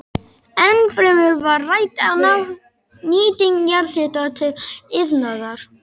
Ennfremur var rædd nýting jarðhita til iðnaðar.